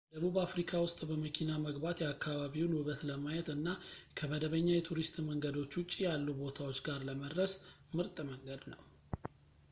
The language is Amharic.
ደቡብ አፍሪካ ውስጥ በመኪና መግባት የአካባቢውን ውበት ለማየት እና ከመደበኛ የቱሪስት መንገዶች ውጪ ያሉ ቦታዎች ጋር ለመድረስ ምርጥ መንገድ ነው